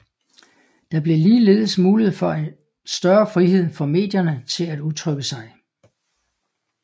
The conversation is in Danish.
Der blev ligeledes mulighed for større frihed for medierne til at udtrykke sig